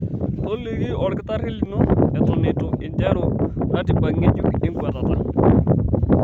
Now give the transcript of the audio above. Toliki olkitarri lino eton eitu interu ratiba ng'ejuk enkuatata.